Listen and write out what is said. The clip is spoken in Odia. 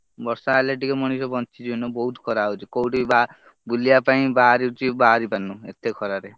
ବର୍ଷା ହେଲେ ଟିକେ ମଣିଷ ବଞ୍ଚି ଜୀବ ନ ହେଲେ ବହୁତ୍ ଖରା ହଉଛି କଉଠି ବୁଲିବା ପାଇଁ ବାହାରିଛି ବାହାରି ପାରୁନି ଏତେ ଖରାରେ।